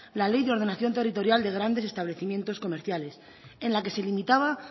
la ley de ordenación territorial de grandes establecimientos comerciales en la que se limitaba